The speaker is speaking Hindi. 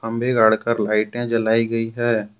खंबे गाडकर लाइटें जलाई गई है।